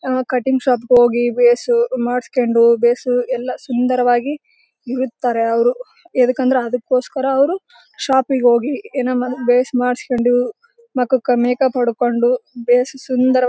ಅಹ್ cutting shop ಗೆ ಹೋಗಿ face ಮಾಡಸ್ಕೊಂಡು ಬೇಸು ಎಲ್ಲಾ ಸುಂದರವಾಗಿ ಇರುತ್ತಾರೆ ಅವರು ಎದಕಂದ್ರೆ ಅದಕೋಸ್ಕರ ಅವರು ಶಾಪಿಗೆ ಹೋಗಿ ಏನೋ ಬೇಸ್ ಮುಖಕ್ಕೆ ಮಾಡಸ್ಕೊಂಡು ಮೇಕ್ಅಪ್ ಹೊಡಕೊಂಡು ಬೇಸ್ ಸುಂದರ --